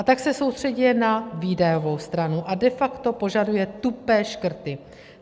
A tak se soustřeďuje na výdajovou stranu a de facto požaduje tupé škrty.